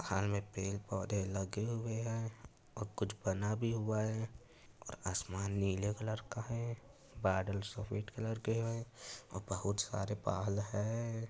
पहाल में पेड़ पौधे लगे हुए हैं और कुछ बना भी हुआ है और आसमान नीले कलर का है बादल सफेद कलर के हैं और बहुत सारे पहाल हैं।